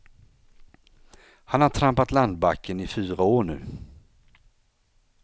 Han har trampat landbacken i fyra år nu.